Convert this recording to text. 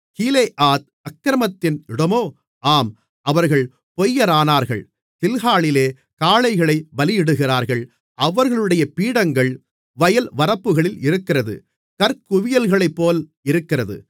கீலேயாத் அக்கிரமத்தின் இடமோ ஆம் அவர்கள் பொய்யரானார்கள் கில்காலிலே காளைகளைப் பலியிடுகிறார்கள் அவர்களுடைய பீடங்கள் வயல்வரப்புகளில் இருக்கிற கற்குவியல்களைப்போல் இருக்கிறது